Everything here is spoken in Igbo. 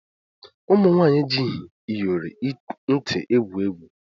Ụmụnwanyị ejighi Ịyọrị nti egwu egwu